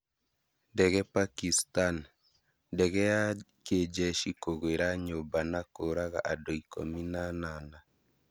Ndege Pakistan: Ndege ya kijeshi kũgwĩra nyũmba na kũraga andũ ikũmi na anana